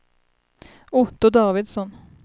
Otto Davidsson